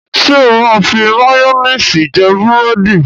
Ṣé ó máa ń fi máyónísì jẹ búrẹ́dì?